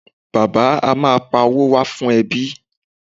Bàbá à mi ma pa owó wá fún ẹbí.